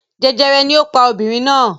Jẹjẹrẹ ni ó pa obìnrin náà!